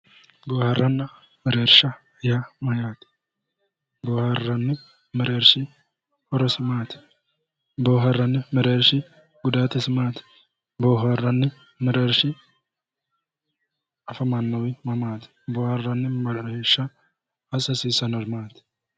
Boohaarranni mereersha yaa mayyaate? Boohaarranni mereershi horosi maati? Boohaarranni mereershi gudaatisi maati? Boohaarranni mereershi afamannowi mamaati? Boohaarranni mereersha assa hasiissannori maati?